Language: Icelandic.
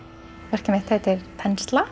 verkið mitt heitir þensla